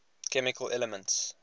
chemical elements